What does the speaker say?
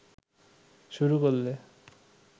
শুরু করলে